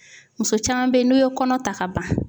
Muso caman bɛ yen n'o ye kɔnɔ ta ka ban